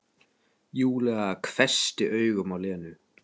Júlía hvessti augun á Lenu.